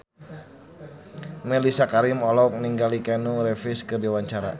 Mellisa Karim olohok ningali Keanu Reeves keur diwawancara